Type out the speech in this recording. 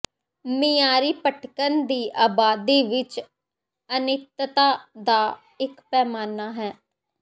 ਮਿਆਰੀ ਭਟਕਣ ਦੀ ਆਬਾਦੀ ਵਿਚ ਅਨਿੱਤਤਾ ਦਾ ਇਕ ਪੈਮਾਨਾ ਹੈ